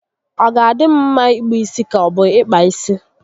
Ọ ga adị m mma ịkpụ isi ka obu ịkpa isi?